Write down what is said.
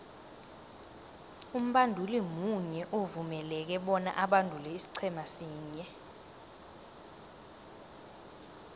umbanduli munye uvumeleke bona abandule isiqhema sinye